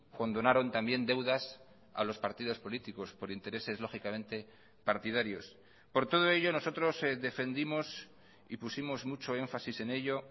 condonaron también deudas a los partidos políticos por intereses lógicamente partidarios por todo ello nosotros defendimos y pusimos mucho énfasis en ello